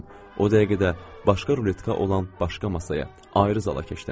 O dəqiqə də başqa ruletka olan başqa masaya, ayrı zala keçdim.